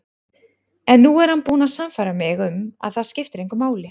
En nú er hann búinn að sannfæra mig um að það skiptir engu máli.